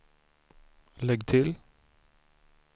lägg till